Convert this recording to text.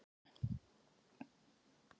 Hún er týpa eins og sagt er.